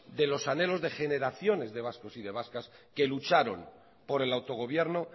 de los anhelos de generaciones de vascos y de vascas que lucharon por el autogobierno